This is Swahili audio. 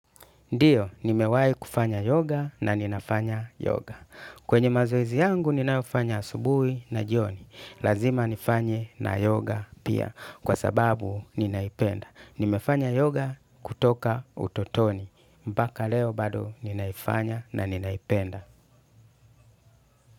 Ndiyo, nimewahi kufanya yoga na ninafanya yoga. Kwenye mazoezi yangu ninayofanya asubuhi na jioni. Lazima nifanye na yoga pia kwa sababu ninaipenda. Nimefanya yoga kutoka utotoni. Mpaka leo bado ninaifanya na ninaipenda.